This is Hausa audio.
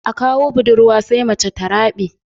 A kawo budurwa sai mace ta rabe